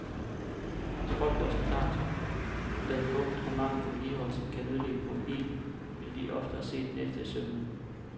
Hvis folk gjorde sig klart, hvad fugt og mangel på vedligeholdelse kan ødelægge på en bil, ville de oftere se den efter i sømmene.